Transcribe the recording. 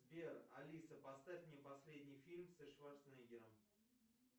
сбер алиса поставь мне последний фильм со шварцнеггером